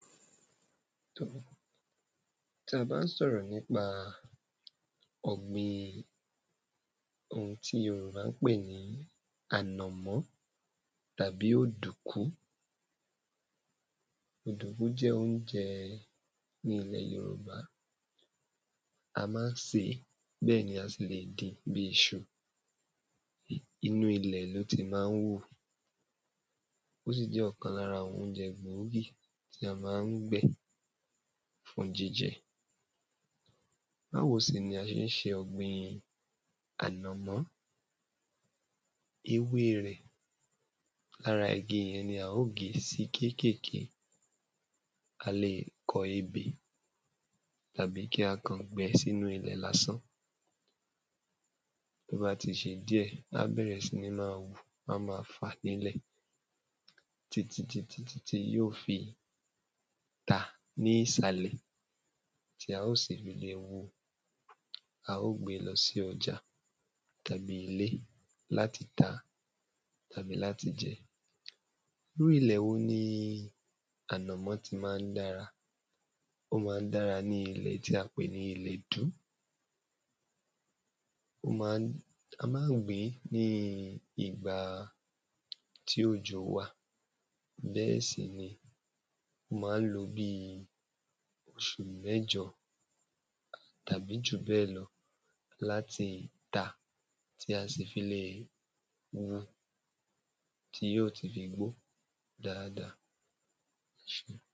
Tá ba n sọ̀rọ̀ nípa ọ̀gbìn oun tí yorùbá n pè ní ànọ̀mọ́ tabi òdùkú òdùkú jẹ́ óunjẹ́ ní ilẹ̀ yorùbá a má n sèé, bẹ́ ni a sì le dín bí iṣu. inú ilẹ̀ lo ti má n hú o sì jẹ́ ọkan lára awọn óunjẹ gbòógí tí a má n gbẹ́ fún jíjẹ́. Báwo sì ní a ṣe n ṣe ọ̀gbìn ànọ̀mọ́ ewé rẹ̀ lára igi lá o ge sí kékènké a lè kọ́ ebè tabi kí a kàn gbẹ́ sínú ilẹ̀ lá san tó ba tì ṣe díẹ, a má hù, a má fà nílẹ̀ tí ti ti tí yó fi tá ni ìsàlẹ̀ tí a o sì ri hu a o gbe lọ́ si ọjà tabi ilé lati tà tabí latí jẹ. Irú ilẹ̀ wo ni ànọ̀mọ́ tí má n dára? O má n dára ní ilẹ̀ tí a pè ní ilẹ̀dú. A ma gbìn bí ìgbà tí òjò wa, bẹ́ sì ni o má n lò bí oṣù mẹ́jọ tabi ju bẹ́ lọ lati tá tí a sì fi le hú tí yio fí ti gbó dáàdáà